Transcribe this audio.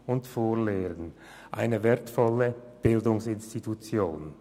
Es ist somit eine wertvolle Bildungsinstitution.